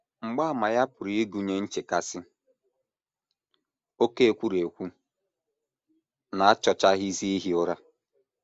Mgbaàmà ya pụrụ ịgụnye nchekasị, oké ekwurekwu, na achọchaghịzi ihi ụra.